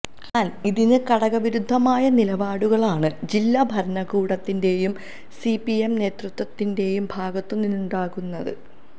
എന്നാല് ഇതിന് കടകവിരുദ്ധമായ നിലപാടുകളാണ് ജില്ലാ ഭരണകൂടത്തിന്റെയും സിപിഎം നേതൃത്വത്തിന്റെയും ഭാഗത്തുനിന്നുണ്ടാകുന്നത്